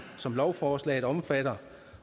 som lovforslaget omfatter